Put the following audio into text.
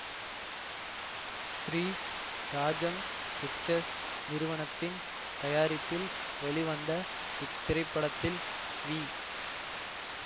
Sri Rajam pictures நிறுவனத்தின் தயாரிப்பில் வெளிவந்த இத்திரைப்படத்தில் வி